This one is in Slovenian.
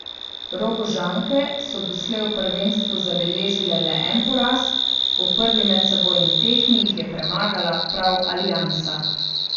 Rogožanke so doslej v prvenstvu zabeležile le en poraz, v prvi medsebojni tekmi jih je premagala prav Aliansa.